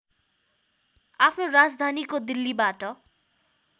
आफ्नो राजधानीको दिल्लीबाट